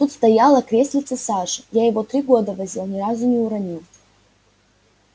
тут стояло креслице саши я его три года возил ни разу не уронил